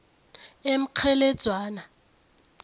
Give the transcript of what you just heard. emkgheledzwana